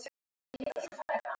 Hvað heitir þessi foss?